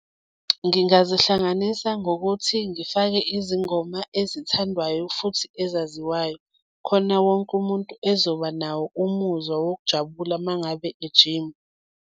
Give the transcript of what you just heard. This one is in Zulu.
Ngingazihlanganisa ngokuthi ngifake izingoma ezithandwayo futhi ezaziwayo khona wonke umuntu ezoba nawo umuzwa wokujabula uma ngabe ejima.